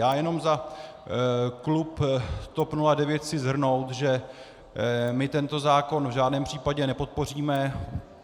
Já jenom za klub TOP 09 chci shrnout, že my tento zákon v žádném případě nepodpoříme.